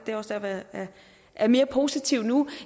er også derfor jeg er mere positiv nu